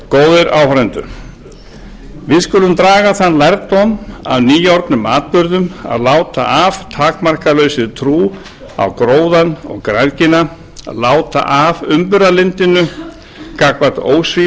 góðir áheyrendur við skulum draga þann lærdóm af nýorðnum atburðum að láta af takmarkalausri trú á gróðann og græðgina að láta af umburðarlyndinu gagnvart